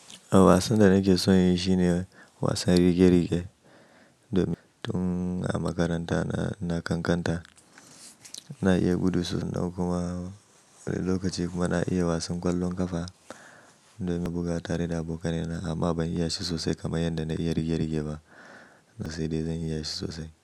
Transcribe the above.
A wasan da nake son yi shine wasan rige-rige. Domin tun a makaranta na ƙanƙanta na iya buɗe su. Kuma wani lokaci kuma na iya wasan ƙwallon ƙafa domin na buga tare da aboka nai na amma ban iya shi sosai kamar yadda na iya rigar-rige ba. Saida zan iya shi sosai.